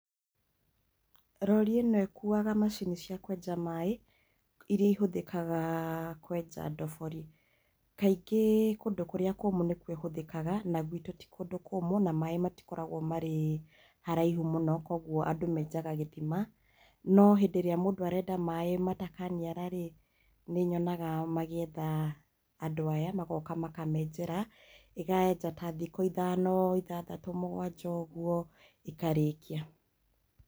Rori ĩno ĩkuaga macini cia kwenja maĩ iria ihũthikaga kwenja ndobori kaingĩ kũndũ kũrĩa kũmũ nĩkuo ihũthĩkaga na gwitũ ti kũndũ kũmũ na maĩ matikoragwo marĩ haraihu mũno kwoguo andũ menjaga gĩthima no hĩndĩ ĩrĩa mũndũ arenda maĩ matakaniara rĩ, nĩnyonaga magĩetha andũ aya magoka makamenjera igaenja ta thikũ ithano, ithathatũ, mũgwanja ũguo ikarĩkia.